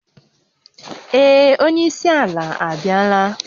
Ee, onye isi ala abịala